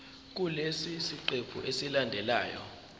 kulesi siqephu esilandelayo